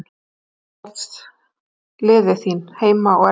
Hver eru uppáhaldslið þín heima og erlendis?